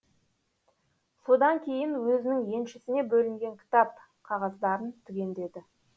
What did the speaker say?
содан кейін өзінің еншісіне бөлінген кітап қағаздарын түгендеді